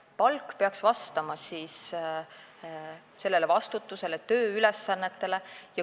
Palk peaks vastama vastutusele ja tööülesannetele.